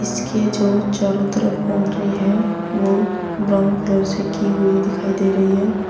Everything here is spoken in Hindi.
इसके जो चारों तरफ बाउंड्री है वो ब्राउन कलर से की हुई दिखाई दे रही है।